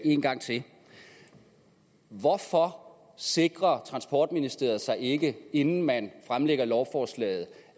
en gang til hvorfor sikrer transportministeriet sig ikke inden man fremsætter lovforslaget